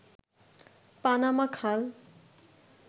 Panama খাল